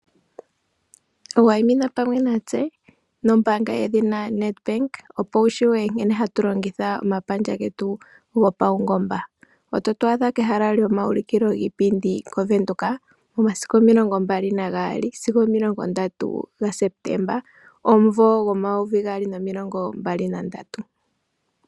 Wayimina pamwe natse nombaanga yedhina Nedbank opo wutseye nkene hatu longitha omapandja getu gopaungomba . Ototu adha pehala lyomawuliko lyiipindi lya Venduka momasiku omilongombali nagaali sigo omilongo ndatu ga Sepetemba, omumvo gomayovi gaali nomilongo mbali nandatu.